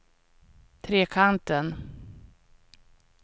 Trekanten